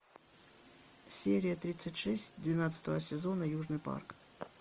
серия тридцать шесть двенадцатого сезона южный парк